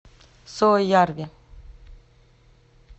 суоярви